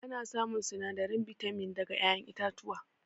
Ana samun sinadarin bitamin daga ƴaƴen itatuwa